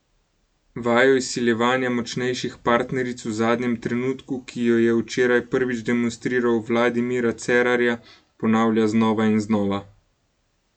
Vajo izsiljevanja močnejših partneric v zadnjem trenutku, ki jo je včeraj prvič demonstriral v vladi Mira Cerarja, ponavlja znova in znova.